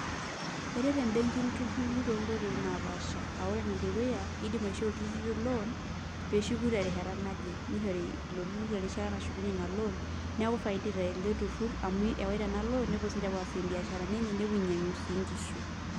Eret mbenkii ilturruri tonkoiti naapaasha aa ore enedukuya iidim aishoo ilturruri loan pee eshuku terishata naje, nishori ilo turrur erishata nashukunyie ina loan neeku ifaidike ele turur amu eawaita ena loan nepuo siinche aapuo aasie imbiasharani enye ninyiang'u sii nkishu.